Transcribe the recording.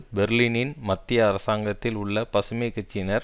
பெர்லினின் மத்திய அரசாங்கத்தில் உள்ள பசுமை கட்சியினர்